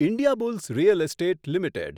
Indiabulls real estate limited